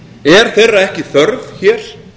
er þeirra ekki þörf hér